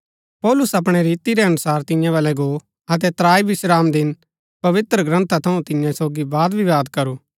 पौलुस अपणै रीति रै अनुसार तियां बलै गो अतै त्राई विश्रामदिन पवित्रग्रन्था थऊँ तियां सोगी वादविवाद करू